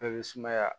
Bɛɛ bɛ sumaya